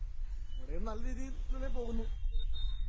Speaker 1 ഇവിടെയും നല്ലരീതിയില്‍ ഇങ്ങനെ പോകുന്നു.